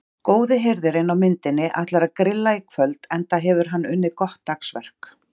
Góði hirðirinn á myndinni ætlar að grilla í kvöld enda hefur hann unnið gott dagsverk.